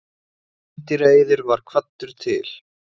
Meindýraeyðir var kvaddur til.